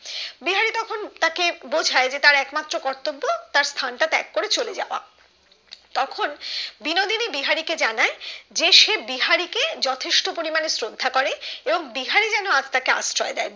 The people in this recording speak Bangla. হম তাকে বোঝায় যে তার একমাত্র কর্তব্য তার স্থান টা ত্যাগ চলে যাওয়া তখন বিনোদিনী বিহারীকে জানায় যে সে বিহারীকে যথেষ্ট পরিমানে শ্রদ্ধা করে এবং বিহারী যেন আর তাকে আশ্রয় দেয়